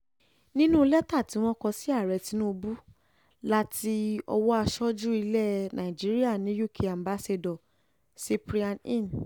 nínú lẹ́tà tí wọ́n kọ sí ààrẹ tinubu láti owó aṣojú ilẹ̀ nàìjíríà ní uk ambassador cyprian heen